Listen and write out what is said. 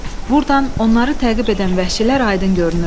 Burdan onları təqib edən vəhşilər aydın görünürdü.